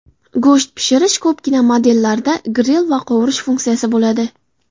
Go‘sht pishirish Ko‘pgina modellarda gril va qovurish funksiyasi bo‘ladi.